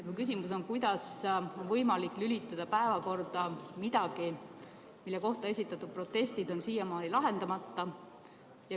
Mu küsimus on, kuidas on võimalik lülitada päevakorda midagi, mille kohta esitatud protestid on siiamaani lahendamata.